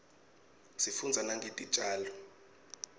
sifundza nangetitjalo